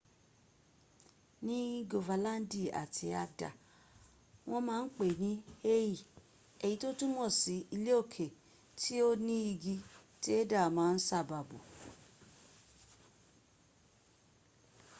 ni gofalandi ati agda won ma n pe e ni hei eyi to tumo si ileoke ti o ni igi ti heda ma n saba bo